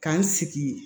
Ka n sigi